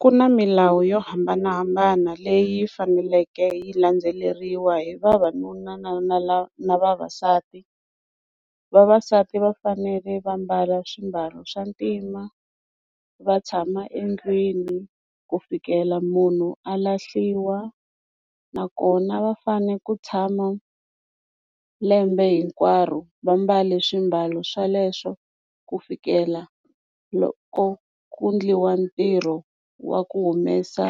Ku na milawu yo hambanahambana leyi faneleke yi landzeleriwa hi vavanuna na na la na vavasati vavasati va fanele va mbala swimbalo swa ntima va tshama endlwini ku fikela munhu a lahliwa nakona va fanele ku tshama lembe hinkwaro va mbale swimbalo sweleswo ku fikela loko ku endliwa ntirho wa ku humesa